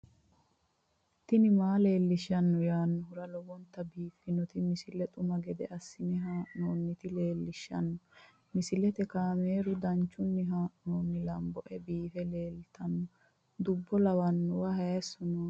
tini maa leelishshanno yaannohura lowonta biiffanota misile xuma gede assine haa'noonnita leellishshanno misileeti kaameru danchunni haa'noonni lamboe biiffe leeeltanno dubbo lawannowa hayisoo nooti yanna soodimaro labbannoti noo